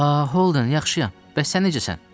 A, Holden, yaxşıyam, bəs sən necəsən?